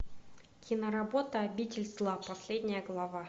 киноработа обитель зла последняя глава